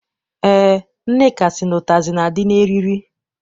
Eé, Nneka sị na ụtazị na- adị n'eriri.